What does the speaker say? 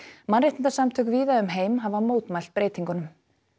mannréttindasamtök víða um heim hafa mótmælt breytingunum